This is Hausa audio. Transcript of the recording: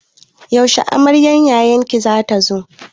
Yaushe amaryar yayan ki za ta zo?